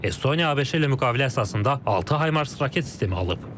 Estoniya ABŞ ilə müqavilə əsasında 6 Haymars raket sistemi alıb.